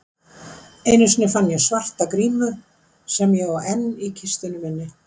Einu sinni fann ég svarta grímu sem ég á enn í kistunni minni.